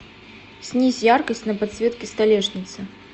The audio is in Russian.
снизь яркость на подсветке столешницы